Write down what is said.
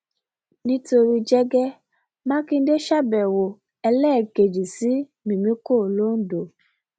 nítorí jẹgẹ mákindè ṣàbẹwò ẹlẹẹkejì sí mímíkọ londo